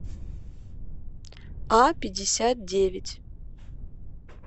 а пятьдесят девять